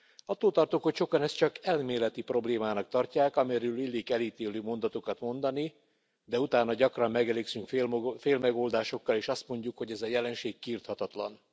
Attól tartok, hogy sokan ezt csak elméleti problémának tartják, amiről illik elítélő mondatokat mondani, de utána gyakran megelégszünk félmegoldásokkal és azt mondjuk, hogy ez a jelenség kiirthatatlan.